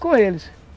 Com eles.